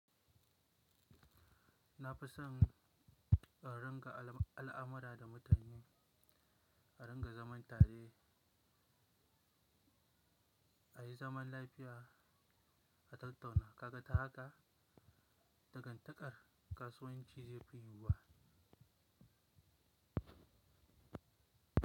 Na fi son a ringa al'amara da mutane, a ringa zaman tare, a yi zaman lafiya, a tattauna. Kaga ta haka? Dagantakar kasuwanci zai fi yin ba.